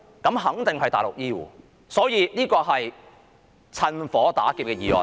那肯定是內地的醫護，所以這是"趁火打劫"的議案。